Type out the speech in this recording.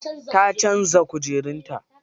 Ta canza kujerun ta.